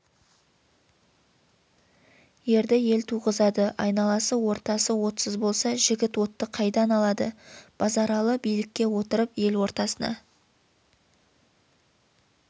ерді ел туғызады айналасы ортасы отсыз болса жігіт отты қайдан алады базаралы билікке отырып ел ортасына